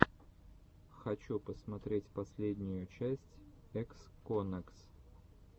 хочу посмотреть последнюю часть эксконэкс